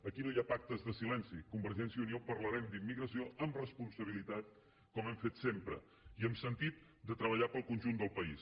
aquí no hi ha pactes de silenci convergència i unió parlarem d’immigració amb responsabilitat com hem fet sempre i amb sentit de treballar per al conjunt del país